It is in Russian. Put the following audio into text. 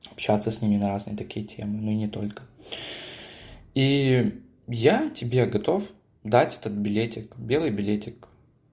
общаться с ними на разные такие темы ну не только и я тебе готов дать этот билетик белый билетик